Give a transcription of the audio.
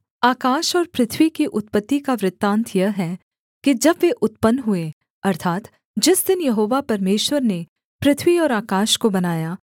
आकाश और पृथ्वी की उत्पत्ति का वृत्तान्त यह है कि जब वे उत्पन्न हुए अर्थात् जिस दिन यहोवा परमेश्वर ने पृथ्वी और आकाश को बनाया